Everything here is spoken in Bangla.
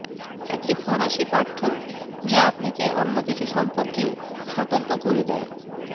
একটি ফরাসি পাঠ্য যা আপনাকে অন্য কিছু সম্পর্কে সতর্ক করে দেয়